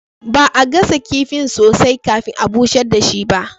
Ba'a gasa kifin sosai kafin a busher dashi ba.